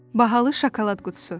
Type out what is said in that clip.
Bahalı şokolad qutusu.